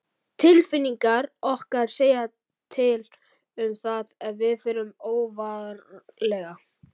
Tilfinningar okkar segja til um það ef við förum óvarlega.